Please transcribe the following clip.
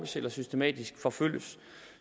eller systematisk forfølges